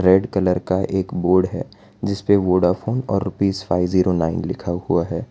Red colour का एक board है जिसपे वोडाफोन और रुपीस फाइव ज़ीरो नाइन लिखा हुआ है।